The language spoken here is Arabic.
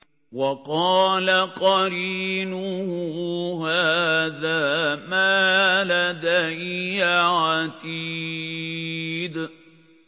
وَقَالَ قَرِينُهُ هَٰذَا مَا لَدَيَّ عَتِيدٌ